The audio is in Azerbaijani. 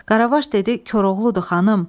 Qaravaş dedi: Koroğludur, xanım.